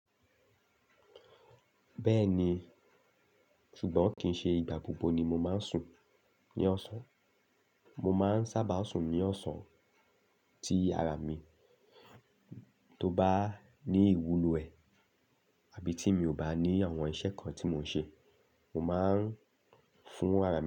Bẹ́ẹ̀ni, ṣùgbọ́n kì í ṣe ìgbà gbogbo ni mo máa ń sùn ní ọ̀sán. Mo máa ń sábà sùn ní ọ̀sán tí ara mi tó bá ní ìwúlò ẹ̀ àbí tí mi ò bá ní àwọn iṣẹ́ kan tí mò ń ṣe. Mo máa ń fún ara mi.